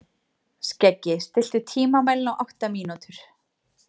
Skeggi, stilltu tímamælinn á átta mínútur.